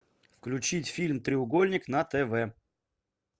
включить фильм треугольник на тв